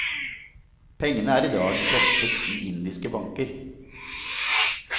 Pengene er i dag frosset i indiske banker.